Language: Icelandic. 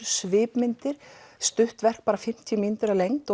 svipmyndir stutt verk bara fimmtíu mínútur að lengd